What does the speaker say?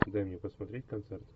дай мне посмотреть концерт